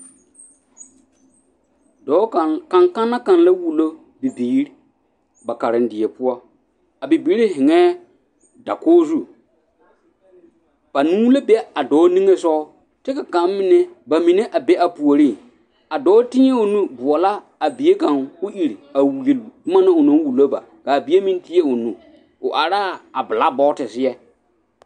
Dɔɔ kaŋ, kanekanna kaŋa wulo bibiiri ba karendie poɔ, a bibiiri heŋɛɛ dakogi zu, banuu la be a dɔɔ niŋesogɔ kyɛ ka kaŋ mine, bamine a be a puoriŋ, a dɔɔ tēɛ o nu boɔlɔ a bie kaŋ k'o iri a wuli boma na onaŋ wulo ba, k'a bie meŋ tēɛ o nu, o araa bilakibɔɔte seɛ.